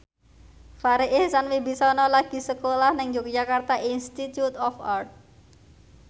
Farri Icksan Wibisana lagi sekolah nang Yogyakarta Institute of Art